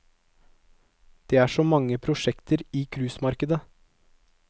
Det er så mange prosjekter i cruisemarkedet.